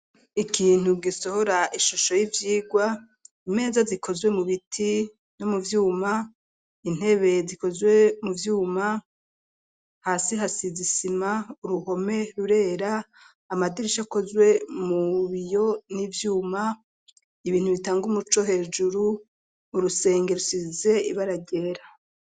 Ikintu gisohora ishusho y'ivyigwa, imeza zikozwe mu biti no mu vyuma ,intebe zikozwe mu vyuma, hasi hasize isima, uruhome rurera ,amadirisha akozwe mu biyo n'ivyuma, ibintu bitanga umuco hejuru, urusenge rusize ibaragera.